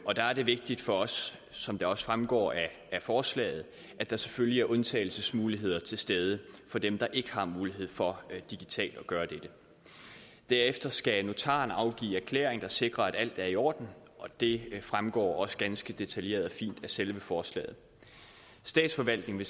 og der er det vigtigt for os som det også fremgår af forslaget at der selvfølgelig er undtagelsesmuligheder til stede for dem der ikke har mulighed for digitalt at gøre dette derefter skal notaren afgive erklæring der sikrer at alt er i orden og det fremgår også ganske detaljeret og fint af selve forslaget statsforvaltningen